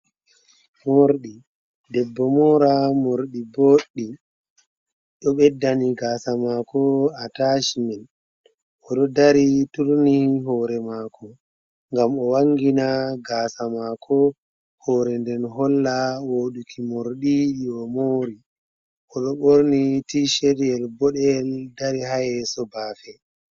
Morɗi, debbo mora Morɗi boɗɗi ɗo ɓeddani gasa mako atacimin, oɗo dari turni hore mako mgam o wangina gasa mako, hore nden holla woɗuki Morɗi ko omori, oɗo ɓorni tishetyel boɗel dari hayeso bafe.